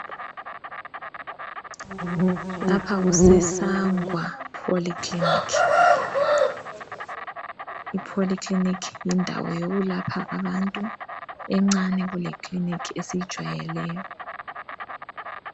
Lapha kuseSangwa Poly clinic. IPolyclinic yindawo yokulapha abantu encane kuleclinic esijwayeleyo.